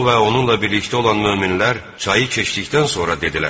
O və onunla birlikdə olan möminlər çayı keçdikdən sonra dedilər: